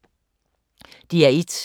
DR1